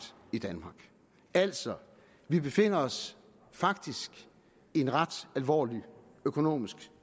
i danmark altså vi befinder os faktisk i en ret alvorlig økonomisk